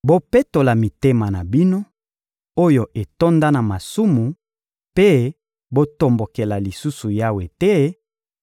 Bopetola mitema na bino, oyo etonda na masumu mpe botombokela lisusu Yawe te;